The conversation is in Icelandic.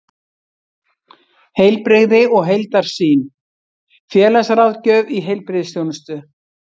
Heilbrigði og heildarsýn: félagsráðgjöf í heilbrigðisþjónustu.